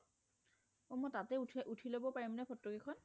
মই তাতে উঠি লব পাৰিম ন ফটো কেইখন